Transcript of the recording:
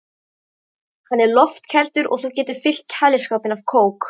Hann er loftkældur og þú getur fyllt kæliskápinn af kók.